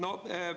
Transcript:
Aitäh!